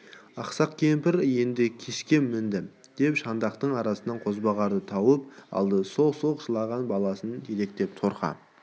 ақсақ кемпір енді күшке мінді деп шандақтың арасынан қозбағарын тауып алды солқ-солқ жылаған баласын жетектеп торқа